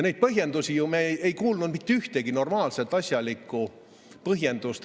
Neid põhjendusi me ju ei kuulnud, mitte ühtegi normaalset asjalikku põhjendust.